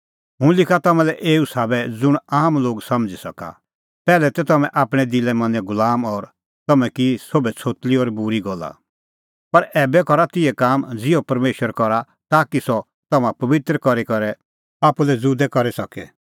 हुंह लिखा तम्हां लै एऊ साबै ज़ुंण आम लोग समझ़ी सका पैहलै तै तम्हैं आपणैं दिला मनें गुलाम और तम्हैं की सोभै छ़ोतली और बूरी गल्ला पर ऐबै करा तिहै काम ज़िहअ परमेशर करा ताकि सह तम्हां पबित्र करी करै आप्पू लै ज़ुदै करी सके